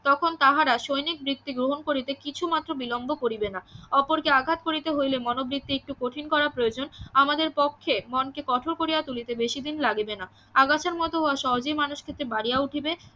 তখন তাহারা সৈনিক বৃত্তি গ্রহণ করিতে কিছু মাত্র বিলম্ব করিবে না অপরকে আঘাত করিতে হইলে মনোবৃত্তি একটু কঠিন করা প্রয়োজন আমাদের পক্ষে মনকে কঠোর করিয়া তুলিতে বেশিদিন লাগিবে না আগাছার মত উহা সহজেই মানসকৃত্তে বাড়িয়া উঠিবে